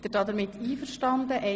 Sind Sie damit einverstanden?